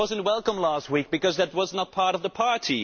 it was not welcome last week, because it was not part of the party.